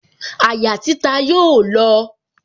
Àyà títa yóò lọ